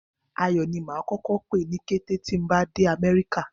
Ayò̩ ni màá kó̩kó̩ pè ní kété tí mob á dé Àmé̩ríkà